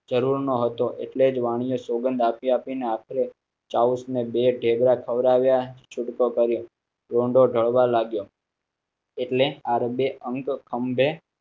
જરૂર નહોતો એટલે જ વાણિયે સોગંદ આપી આપી ને આખરે ને બે ઢેબરાં ખવડાવ્યા. છુટકો કરો એટલે આરબે અંક ખંભે